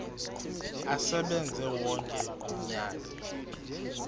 asebenze wonke umnyaka